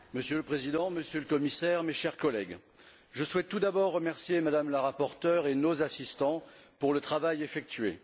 Monsieur le Président, Monsieur le Commissaire, mes chers collègues, je souhaite tout d'abord remercier Mme la rapporteure et nos assistants pour le travail effectué.